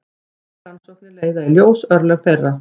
Nýjar rannsóknir leiða í ljós örlög þeirra.